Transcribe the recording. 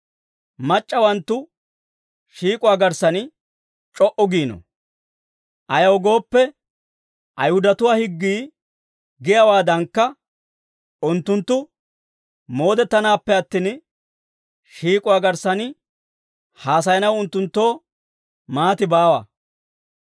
mac'c'awanttu shiik'uwaa garssan c'o"u giino. Ayaw gooppe, Ayihudatuwaa higgii giyaawaadankka unttunttu moodettanaappe attin, shiik'uwaa garssan haasayanaw unttunttoo maati baawa.